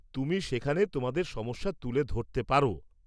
তুমি সেখানে তোমাদের সমস্যা তুলে ধরতে পার।